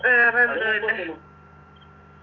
വേറെന്തുവാ